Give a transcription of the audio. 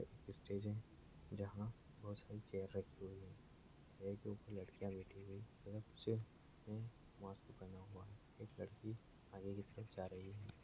Stage है जहाँ बहोत सारी चेयर रखी हुई है। चेयर के ऊपर लड़कियां बैठी हुई ने मास्क पहना हुआ है एक लड़की आगे की तरफ जा रही है।